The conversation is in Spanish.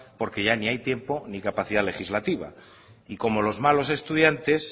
porque ya ni hay tiempo ni capacidad legislativa y como los malos estudiantes